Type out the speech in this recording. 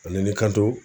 Ani ni kan to